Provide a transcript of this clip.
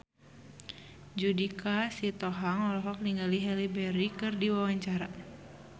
Judika Sitohang olohok ningali Halle Berry keur diwawancara